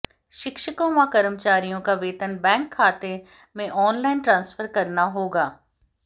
शिक्षकों व कर्मचारियों का वेतन बैंक खाते में ऑनलाइन ट्रांसफर करना होगा